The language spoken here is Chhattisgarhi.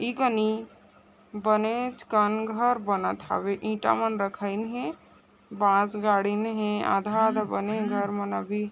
ई कानि बनेच कन घर बनेत हवे ईटा मन रखइन हे बांस गाड़ीन है आधा -आधा बनी है घर मन अभी--